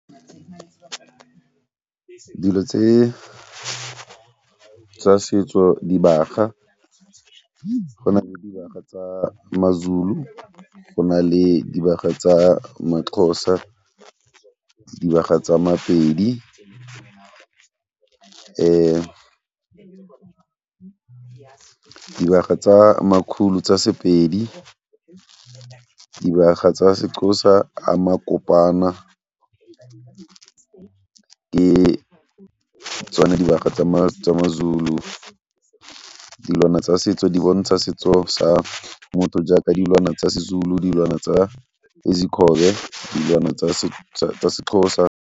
Dilo tse tsa setso dibaga, go na le dibaga tsa maZulu, go na le dibaga tsa maXhosa le dibaga tsa maPedi. Dibaga tsa tsa sePedi, dibaga tsa seXhosa le tsona dibaga tsa maZulu. Dilwana tsa setso di bontsha setso dilwana tsa seXhosa.